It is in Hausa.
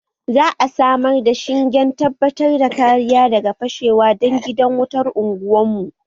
Za a samar da shingen tabbatar da kariya daga fashewa don gidan wutan unguwar mu